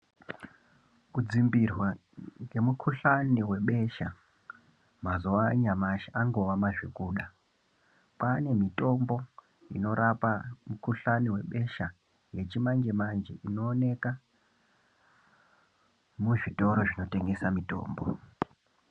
Kudzimbirwa ngekhuhlani webesha mazuwa anyamashi angova mazvokuda kwaane mutombo unorapa mukhuhlani webesha yechimanje-manje inooneka muzvitoro zvinotengesa mitombo.